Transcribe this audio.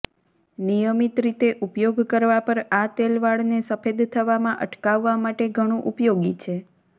નિયમિત રીતે ઉપયોગ કરવાં પર આ તેલ વાળને સફેદ થવામાં અટકાવવા માટે ઘણું ઉપયોગી છે